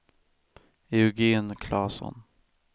Eugen Klasson